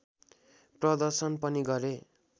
प्रदर्शन पनि गरे